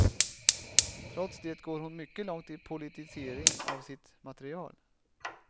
Trots det går hon mycket långt i politisering av sitt material.